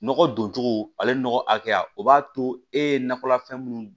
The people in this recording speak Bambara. Nɔgɔ don cogo ale nɔgɔ hakɛya o b'a to e ye nakɔlafɛn minnu